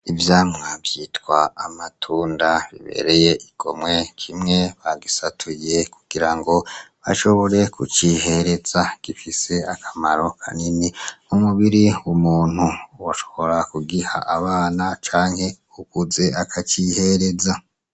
Ivyamwa vyitwa amatunda bibereye igomwe, kimwe bagisatuye kugira bashobore kucihereza. Gifise akamaro kanini mu mubiri w'umuntu, woshobora kugiha abana canke uwukuze akacihereza.